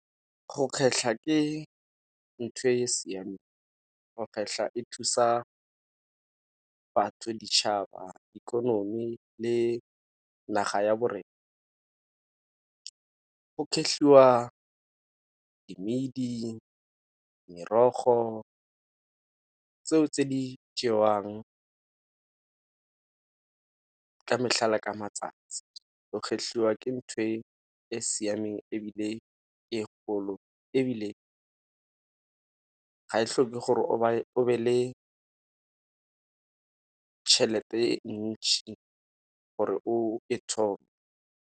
Go kgetlha ke ntho e e siameng, go kgetlha e thusa batho, ditšhaba, ikonomi, le naga ya bo rena. Go kgetlhiwa di mmidi, merogo, tseo tse di jewang ka mehla le ka matsatsi. Go kgetlhiwa ke ntho e e siameng, ebile ke e kgolo ebile ga e tlhoke gore o be le tšhelete e ntšhi gore o e thome.